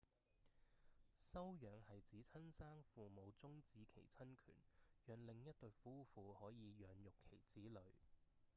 收養係指親生父母終止其親權讓另一對夫婦可以養育其子女